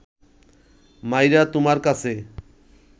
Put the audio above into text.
মাইরা তুমার কাছে